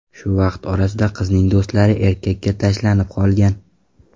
Shu vaqt orasida qizning do‘stlari erkakga tashlanib qolgan.